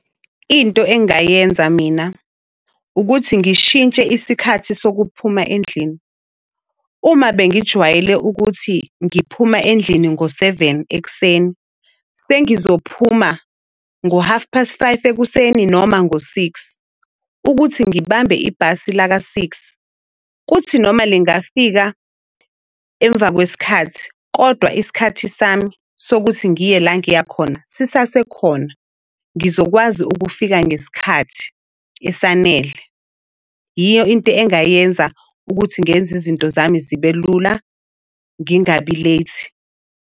Into engingayenza mina ukuthi ngishintshe isikhathi sokuphuma endlini. Uma bengijwayele ukuthi ngiphuma endlini ngo-seven ek'seni, sengizophuma ngo-half past five ekuseni noma ngo-six, ukuthi ngibambe ibhasi laka-six. Kuthi noma lingafika emva kwesikhathi kodwa isikhathi sami sokuthi ngiye la ngiya khona sisasekhona. Ngizokwazi ukufika ngesikhathi esanele. Yiyo into engayenza ukuthi ngenze izinto zami zibe lula, ngingabi late.